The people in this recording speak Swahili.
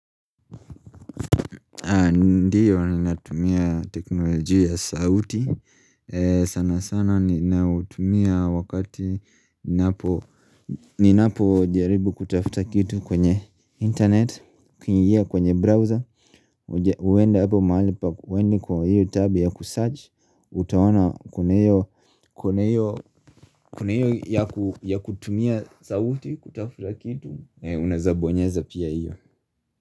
Ndiyo natumia teknolojia ya sauti sana sana ninayotumia wakati Ninapojaribu kutafuta kitu kwenye internet Kunyigia kwenye browser uenda hapo mahali pa kwa iyo tab ya kusearch Utaona kuna hiyo kuna hiyo kuna hiyo yaku yakutumia sauti kutafuta kitu unazaebonyeza pia iyo.